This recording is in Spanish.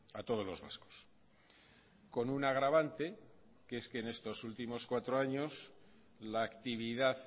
a todos los vascos con un agravante que es que en estos últimos cuatro años la actividad